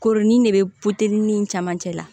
Koronin de bɛ nin caman cɛ la